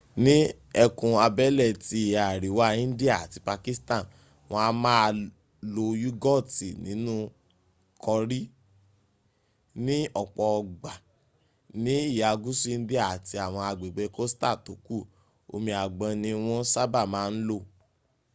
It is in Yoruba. ní ẹkùn abẹ́lé ti ìhà àríwá india àti pakistan wọn a máa lo yúgọ̀tì̀ ninú kọrí; ni ọ̀pọ̀ ògbà; ni ìhà gúsù india àti àwọn agbègbè coastal tó kù omi àgbọn ní wọ́n sábà máa ń lò